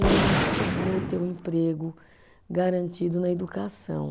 Eu acho que eu vou ter um emprego garantido na educação.